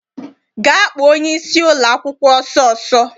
Gaa kpọọ onyeisi ụlọakwụkwọ ọsọ ọsọ!